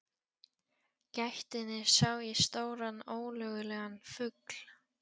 gættinni sá ég stóran ólögulegan fugl.